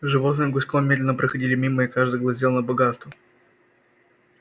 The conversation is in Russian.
животные гуськом медленно проходили мимо и каждый глазел на богатства